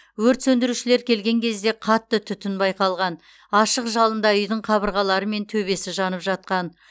өрт сөндірушілер келген кезде қатты түтін байқалған ашық жалында үйдің қабырғалары мен төбесі жанып жатқан